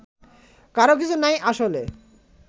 কারও কিছু নাই আসলে